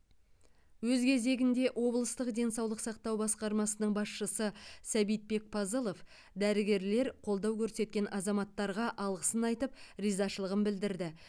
өз кезегінде облыстық денсаулық сақтау басқармасының басшысы сәбитбек пазылов дәрігерлер қолдау көрсеткен азаматтарға алғысын айтып ризашылығын білдірді